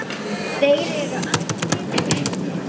Þeir eru allir búnir.